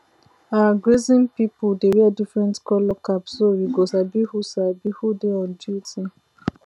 our grazing people dey wear different colour cap so we go sabi who sabi who dey on duty